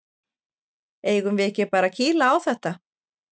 Eigum við ekki bara að kýla á þetta?